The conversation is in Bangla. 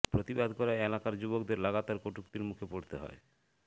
প্রতিবাদ করায় এলাকার যুবকদের লাগাতার কটুক্তির মুখে পড়তে হয়